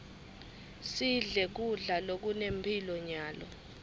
sidle kudla lokunemphilo nyalo